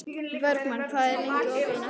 Bergmann, hvað er lengi opið í Nettó?